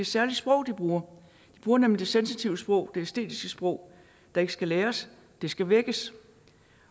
særlig sprog de bruger de bruger nemlig det sensitive sprog det æstetiske sprog der ikke skal læres det skal vækkes